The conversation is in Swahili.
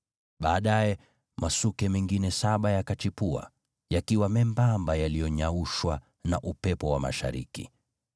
Baadaye, masuke mengine saba yakachipua, yakiwa membamba yaliyonyaushwa na upepo wa mashariki.